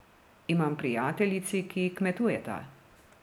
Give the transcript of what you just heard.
Imam prijateljici, ki kmetujeta.